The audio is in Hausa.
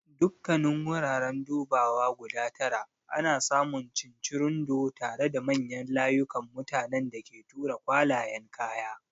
Dukkanin wuraren dubawa guda tara ana samun cincirundo tare da manyan layukan mutanen da ke tura kwalayen kaya.